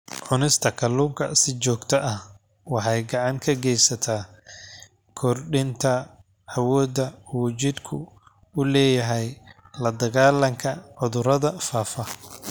Cunista kalluunka si joogto ah waxay gacan ka geysataa kordhinta awoodda uu jidhku u leeyahay la-dagaallanka cudurrada faafa.